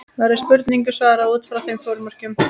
Verður spurningunni svarað út frá þeim formerkjum.